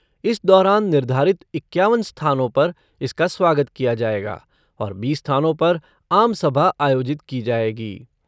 इस दौरान निर्धारित इक्यावन स्थानों पर इसका स्वागत किया जायेगा और बीस स्थानों पर आम सभा आयोजित की जायेगी।